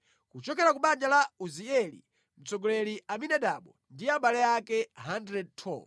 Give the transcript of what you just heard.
kuchokera ku banja la Uzieli, mtsogoleri Aminadabu ndi abale ake 112.